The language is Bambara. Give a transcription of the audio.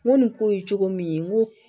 N ko nin ko ye cogo min n ko